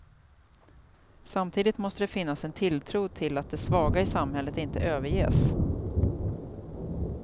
Samtidigt måste det finnas en tilltro till att det svaga i samhället inte överges.